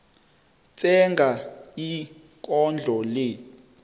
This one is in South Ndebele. tsenga ikondlo le